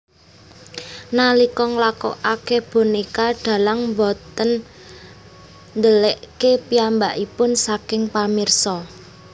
Nalika nglakokake bonéka dalang boten ndelikké piyambakipun saking pamirsa